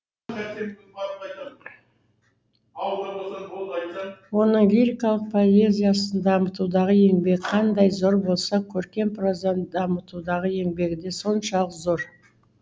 оның лирикалық поэзияны дамытудағы еңбегі қандай зор болса көркем прозаны дамытудағы еңбегі де соншалық зор